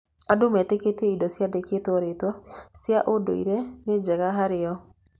Andũ metĩkĩtie indo ciandĩkĩtwo rĩtwa 'cia ndũire' nĩ njega harĩ o.